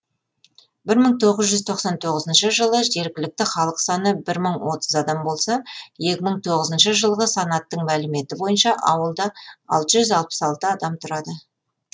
бір мың тоғыз жүз тоқсан тоғызыншы жылы жергілікті халық саны бір мың отыз адам болса екі мың тоғызыншы жылғы санақтың мәліметі бойынша ауылда алты жүз алпыс алты адам тұрады